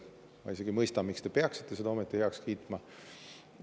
Ma isegi ei mõista, miks te peaksite seda ometi heaks kiitma.